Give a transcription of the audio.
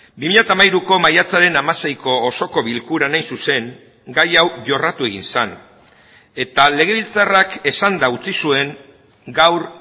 bi mila hamairuko maiatzaren hamaseiko osoko bilkuran hain zuzen gai hau jorratu egin zen eta legebiltzarrak esanda utzi zuen gaur